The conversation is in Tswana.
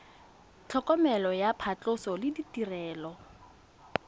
tlhokomelo ya phatlhoso le ditirelo